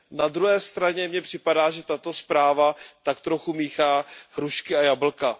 Na druhé straně mně připadá, že tato zpráva tak trochu míchá hrušky a jablka.